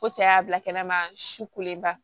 Ko cɛ y'a bila kɛnɛ ma su kolenba